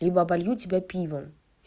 либо оболью тебя пивом